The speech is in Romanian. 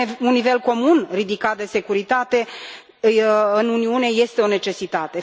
Un nivel comun ridicat de securitate în Uniune este o necesitate.